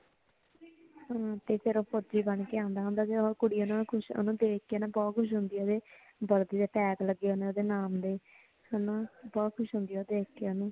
ਹੁਣ ਤੇ ਫੇਰ ਉਹ ਫੋਜੀ ਬਣ ਕੇ ਆਂਦਾ ਹੋਂਦਾ ਤੇ ਉਹ ਕੁੜੀ ਖੁਸ਼ ਓਹਨੂੰ ਵੇਖ ਕੇ ਬਹੁਤ ਖੁਸ਼ ਹੋਂਦੀ ਉਹਤੇ ਵਰਦੀ ਤੇ ਟੈਗ ਲਗੇ ਹੋਂਦੇ ਓਹਦੇ ਨਾਮ ਦੇ ਹੇਨਾ ਬਹੁਤ ਖੁਸ਼ ਹੋਂਦੀ ਉਹ ਦੇਖ ਕੇ ਓਨੁ